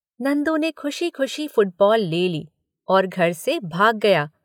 " नंदू ने खुशी-खुशी फुटबॉल ले ली और घर से भाग गया।